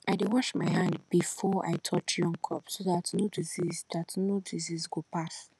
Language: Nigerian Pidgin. i dey wash my hand before i touch young crops so that no disease that no disease go pass